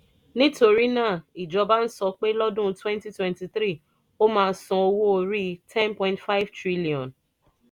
nítorí náà ìjọba ń sọ pé lọ́dún twenty twenty three ó máa san owó orí ten point five trillion